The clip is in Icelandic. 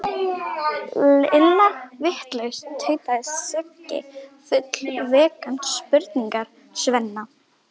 Illa vitlaus, tautaði Siggi fúll vegna spurningar Svenna.